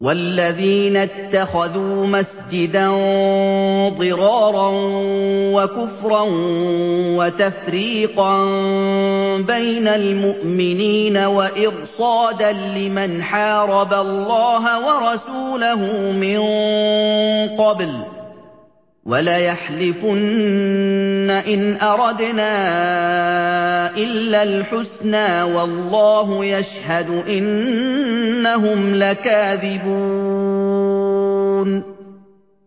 وَالَّذِينَ اتَّخَذُوا مَسْجِدًا ضِرَارًا وَكُفْرًا وَتَفْرِيقًا بَيْنَ الْمُؤْمِنِينَ وَإِرْصَادًا لِّمَنْ حَارَبَ اللَّهَ وَرَسُولَهُ مِن قَبْلُ ۚ وَلَيَحْلِفُنَّ إِنْ أَرَدْنَا إِلَّا الْحُسْنَىٰ ۖ وَاللَّهُ يَشْهَدُ إِنَّهُمْ لَكَاذِبُونَ